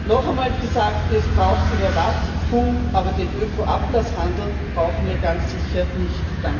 Noch einmal gesagt Es braucht Überwachung, aber den Öko Ablasshandel brauchen wir ganz sicher nicht.